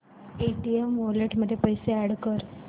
Paytm wallet मध्ये पैसे add कर